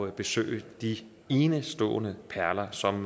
at besøge de enestående perler som